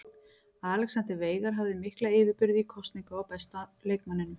Alexander Veigar hafði mikla yfirburði í kosningu á besta leikmanninum.